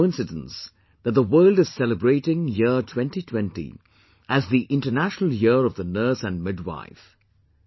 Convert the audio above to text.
It's a coincidence that the world is celebrating year 2020 as the International year of the Nurse and Midwife